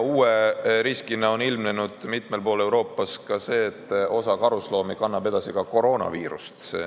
Uue riskina on mitmel pool Euroopas ilmnenud see, et osa karusloomi kannab edasi koroonaviirust.